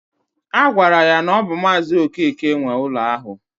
Agwara ya na ọ bụ maazi Okeke nwe ala ahụ